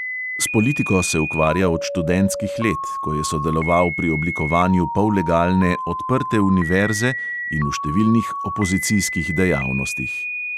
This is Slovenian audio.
S politiko se ukvarja od študentskih let, ko je sodeloval pri oblikovanju pollegalne odprte univerze in v številnih opozicijskih dejavnostih.